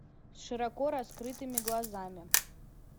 широко раскрытыми глазами